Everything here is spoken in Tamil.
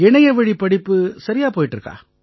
இணையவழி படிப்பு சரியா போயிட்டு இருக்கா